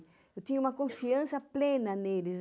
Eu tinha uma confiança plena neles.